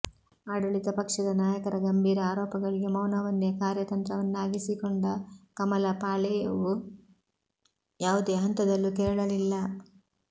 ಆಡಳಿತ ಪಕ್ಷದ ನಾಯಕರ ಗಂಭೀರ ಆರೋಪಗಳಿಗೆ ಮೌನವನ್ನೇ ಕಾರ್ಯತಂತ್ರವನ್ನಾಗಿಸಿಕೊಂಡ ಕಮಲ ಪಾಳೆಯವು ಯಾವುದೇ ಹಂತದಲ್ಲೂ ಕೆರಳಲಿಲ್ಲ